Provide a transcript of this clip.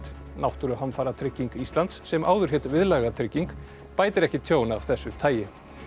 náttúruhamfaratrygging Íslands sem áður hét Viðlagatrygging bætir ekki tjón af þessu tagi